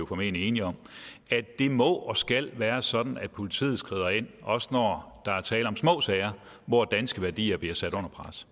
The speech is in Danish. formentlig enige om at det må og skal være sådan at politiet skrider ind også når der er tale om små sager hvor danske værdier bliver sat under pres